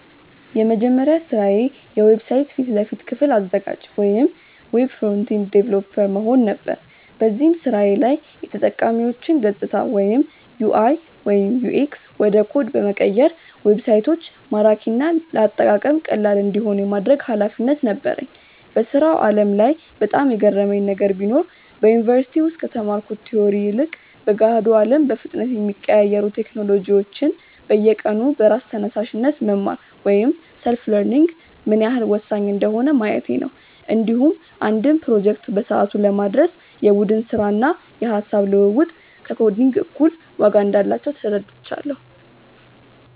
የመጀመሪያ ስራዬ የዌብሳይት ፊት ለፊት ክፍል አዘጋጅ (Web Front-End Developer) መሆን ነበር። በዚህ ስራዬ ላይ የተጠቃሚዎችን ገፅታዎች (UI/UX) ወደ ኮድ በመቀየር ዌብሳይቶች ማራኪና ለአጠቃቀም ቀላል እንዲሆኑ የማድረግ ኃላፊነት ነበረኝ። በስራው ዓለም ላይ በጣም የገረመኝ ነገር ቢኖር፣ በዩኒቨርሲቲ ውስጥ ከተማርኩት ቲዎሪ ይልቅ በገሃዱ አለም በፍጥነት የሚቀያየሩ ቴክኖሎጂዎችን በየቀኑ በራስ ተነሳሽነት መማር (Self-learning) ምን ያህል ወሳኝ እንደሆነ ማየቴ ነው። እንዲሁም አንድን ፕሮጀክት በሰዓቱ ለማድረስ የቡድን ስራና የሃሳብ ልውውጥ ከኮዲንግ እኩል ዋጋ እንዳላቸው ተረድቻለሁ።